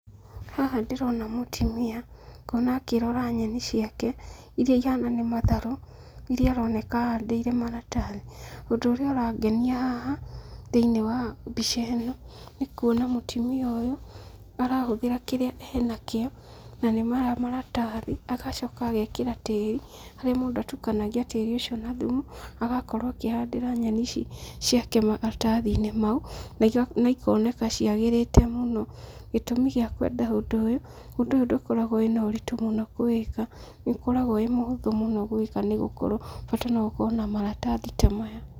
Haha ndĩrona mũtumia, ngona akĩrora nyeni ciake, iria ihana nĩ matharũ, iria aroneka ahandĩire maratathi, ũndũ ũrĩa ũrangenia haha thĩinĩ wa mbica ĩno, nĩ kuona mũtumia ũyũ arahũthĩra kĩrĩa enakĩo, nanĩ maya maratathi, agacoka agekĩra tĩri, harĩa mũndũ atukanagia tĩri ũcio na thumu, agakorwo akĩhandĩra nyeni ici ciake maratathi-inĩ mau, na ikoneka ciagĩrĩte mũno. Gĩtũmi gĩa kwenda ũndũ ũyũ, ũndũ ũyũ ndũkoragwo wĩna ũritũ mũno kũwĩka, nĩũkoragwo wĩ mũhũthũ mũno gwĩka nĩ gũkorwo bata no ũkorwo na maratathi ta maya.